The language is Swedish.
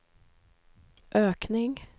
ökning